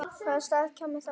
Hvaða staða kæmi þá upp?